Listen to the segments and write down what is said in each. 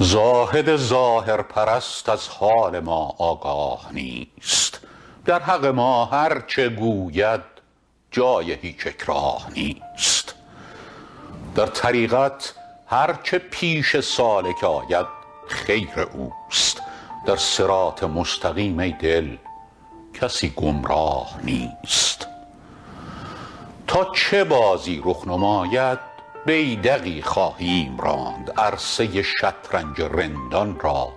زاهد ظاهرپرست از حال ما آگاه نیست در حق ما هرچه گوید جای هیچ اکراه نیست در طریقت هرچه پیش سالک آید خیر اوست در صراط مستقیم ای دل کسی گمراه نیست تا چه بازی رخ نماید بیدقی خواهیم راند عرصه ی شطرنج رندان را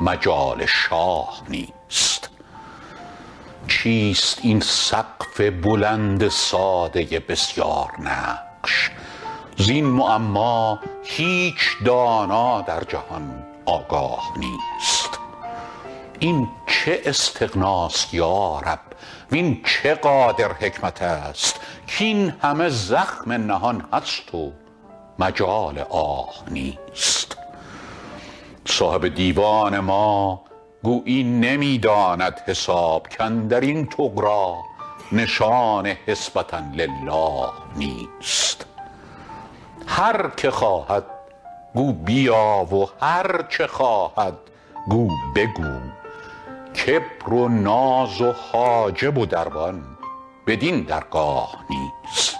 مجال شاه نیست چیست این سقف بلند ساده بسیارنقش زین معما هیچ دانا در جهان آگاه نیست این چه استغناست یا رب وین چه قادر حکمت است کاین همه زخم نهان است و مجال آه نیست صاحب دیوان ما گویی نمی داند حساب کاندر این طغرا نشان حسبة للٰه نیست هر که خواهد گو بیا و هرچه خواهد گو بگو کبر و ناز و حاجب و دربان بدین درگاه نیست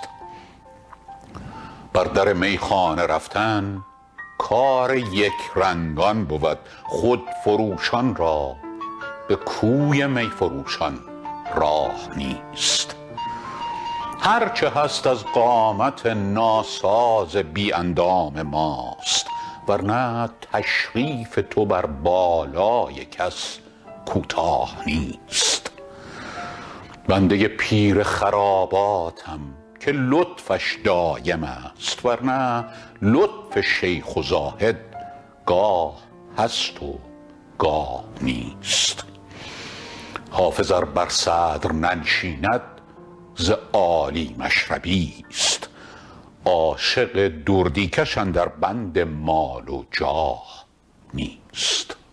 بر در میخانه رفتن کار یکرنگان بود خودفروشان را به کوی می فروشان راه نیست هرچه هست از قامت ناساز بی اندام ماست ور نه تشریف تو بر بالای کس کوتاه نیست بنده ی پیر خراباتم که لطفش دایم است ور نه لطف شیخ و زاهد گاه هست و گاه نیست حافظ ار بر صدر ننشیند ز عالی مشربی ست عاشق دردی کش اندر بند مال و جاه نیست